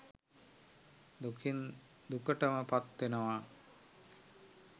දුකින් දුකටම පත්වෙනවා